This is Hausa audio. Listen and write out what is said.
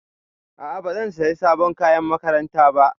A'a bazan saya sabon kayan makaranta ba